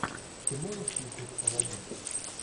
ты можешь включить аладдин